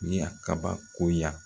Ye a kabako ya